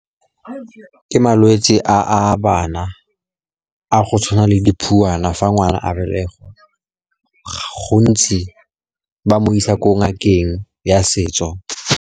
Ke malwetse a a bana a tshwanang le phuana. Fa ngwana a belegwa, gontsi batsadi ba mo isa kwa ngakeng ya setso.